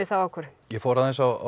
þá ákvörðun ég fór aðeins á